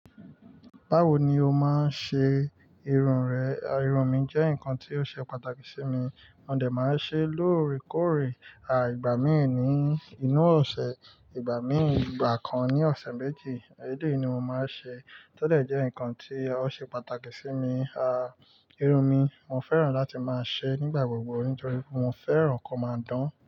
Báwo ni o máa ń ṣe irun rẹ? À, irun mi jẹ́ nǹkan tí ó ṣe pàtàkì sí mi. A Mo de máa ń ṣe lóòrèkóòrè, à ìgbà míì ní inú ọ̀sẹ̀, ìgbà míì ìgbà kan ní ọ̀sẹ̀ méjì. E Éleyi ni mo máa ń ṣe. Tẹ́lẹ̀ jẹ́ nǹkan tí ó ṣe pàtàkì sí mi, à irun mi mo fẹ́ràn láti máa ṣe nígbà gbogbo nítorí mo fẹ́ràn ko ó máa dán.